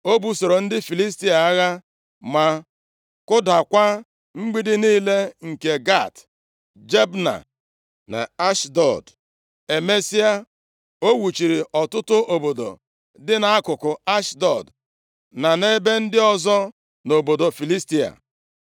O busoro ndị Filistia agha, ma kụdakwa mgbidi niile nke Gat, Jabna, na Ashdọd. Emesịa, o wuziri ọtụtụ obodo dị nʼakụkụ Ashdọd na nʼebe ndị ọzọ nʼobodo Filistia.